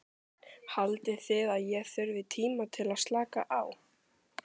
Haldið þið að ég þurfi tíma til að slaka á?